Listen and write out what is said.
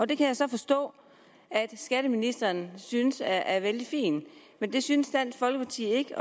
det kan jeg så forstå at skatteministeren synes er vældig fint men det synes dansk folkeparti ikke